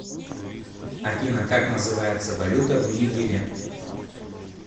афина как называется валюта в нигере